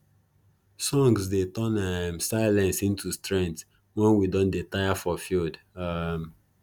songs dey turn um silence into strength wen we don dey tire for field um